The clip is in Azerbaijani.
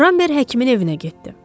Ramber həkimin evinə getdi.